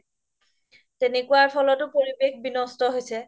তেনেকুৱাৰ ফলতও পৰিৱেশ বিনস্ত হৈছে